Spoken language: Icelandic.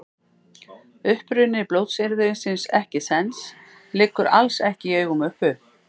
Uppruni blótsyrðisins ekkisens liggur alls ekki í augum uppi.